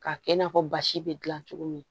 K'a kɛ i n'a fɔ basi bɛ dilan cogo min